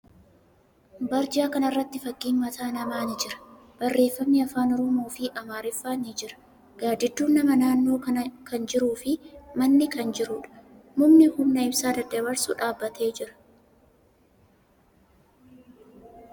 Barjaa kana irratti fakkiin mataa namaa ni jira. Barreeffamni afaan Oromoo fi Amaariffaa ni jira. Gaaddidduun namaa naannoo kana kan jiruu fi manni kan jiruudha. Mukni humna ibsaa daddabarsu dhaabbatee jira.